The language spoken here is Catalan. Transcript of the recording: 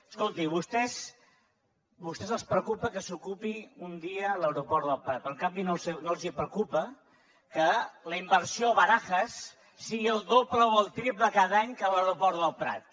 escolti a vostès els preocupa que s’ocupi un dia l’aeroport del prat però en canvi no els preocupa que la inversió a barajas sigui el doble o el triple cada any que a l’aeroport del prat